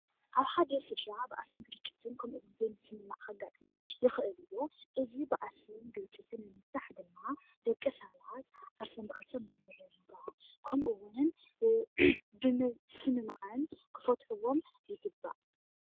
ኣብ ሓደ ስድራ ባእስን ግጭትን ከምኡ እውን ዘይምስምማዕ ከጋጥም ይኽእል እዩ። እዚ ባእስን ግጭትን ንምፍታሕ ድማ ደቂ ሰባት ዓርሶም ብዓርሶም ብምርድዳእ ከምኡ'ውን ብምስማዕን ክፈትሕዎም ይግባእ።